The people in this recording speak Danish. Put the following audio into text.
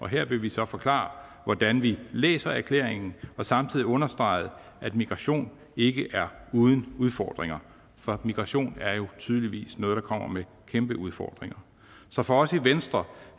her vil vi så forklare hvordan vi læser erklæringen og samtidig understrege at migration ikke er uden udfordringer for migration er jo tydeligvis noget der kommer med kæmpe udfordringer så for os i venstre